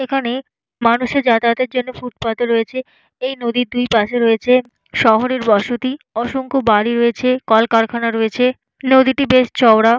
এখানে মানুষের যাতায়াতের জন্য ফুটপাথ রয়েছে। এই নদীর দুইপাশে রয়েছে শহরের বসতি। অসংখ্য বাড়ি রয়েছে কলকারখানা রয়েছে। নদীটি বেশ চওড়া।